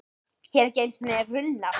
Hér eru ekki einu sinni runnar.